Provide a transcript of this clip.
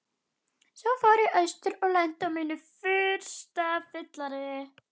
Svo fór ég austur og lenti á mínu fyrsta fylleríi.